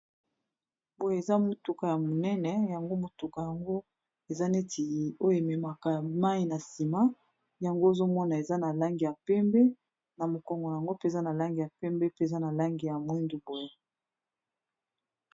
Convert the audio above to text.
boye eza motuka ya monene yango motuka yango eza neti oyo ememaka mai na nsima yango ozomona eza na langi ya pembe na mokongo yango mpe za na langi ya pembe pe eza na langi ya mwindu boye